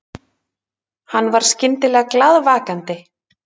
Hann var skyndilega glaðvakandi.